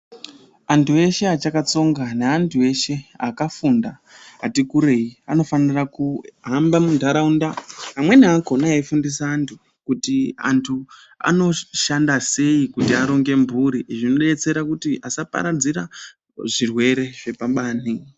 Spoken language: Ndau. Antu eshe achakatsonga neantu eshe akafunda ati kurei, anofanira kuhamba muntaraunda amweni akona eyifundisa antu kuti antu anozoshanda sei kuti aronge mburi, zvinodetsera kuti asaparadzira zvirwere zvepabani.